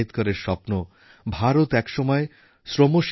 সবচেয়ে বেশি বিদেশী বিনিয়োগ অর্থাৎ এফডিআই ভারতবর্ষেই হচ্ছে